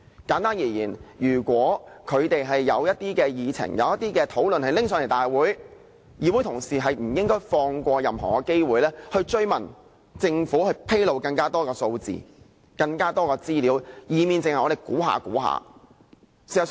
簡單而言，如果政府有議案提交立法會會議，議會同事是不應放過任何的追問機會，要求政府披露更多的數字和資料，否則我們只能推測。